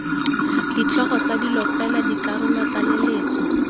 ditlhogo tsa dilo fela dikarolotlaleletso